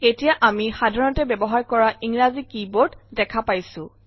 এতিয়া আমি সাধাৰণতে ব্যৱহাৰ কৰা ইংৰাজী কী বোৰ্ড দেখা পাইছো